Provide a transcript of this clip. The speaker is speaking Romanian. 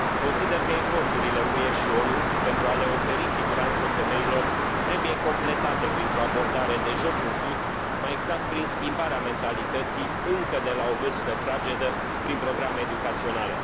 Consider că eforturile depuse de UE și ONU pentru a le oferi siguranță femeilor trebuie completate printr o abordare de jos în sus, mai exact prin schimbarea mentalității încă de la o vârstă fragedă prin programe educaționale.